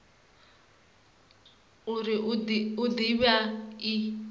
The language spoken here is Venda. uri i de vha i